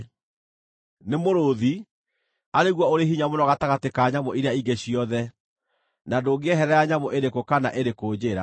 nĩ mũrũũthi, arĩ guo ũrĩ hinya mũno gatagatĩ ka nyamũ iria ingĩ ciothe, na ndũngĩeherera nyamũ ĩrĩkũ kana ĩrĩkũ njĩra;